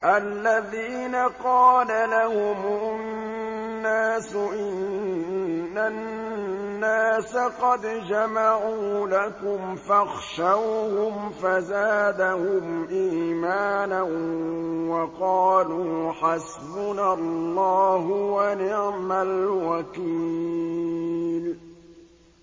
الَّذِينَ قَالَ لَهُمُ النَّاسُ إِنَّ النَّاسَ قَدْ جَمَعُوا لَكُمْ فَاخْشَوْهُمْ فَزَادَهُمْ إِيمَانًا وَقَالُوا حَسْبُنَا اللَّهُ وَنِعْمَ الْوَكِيلُ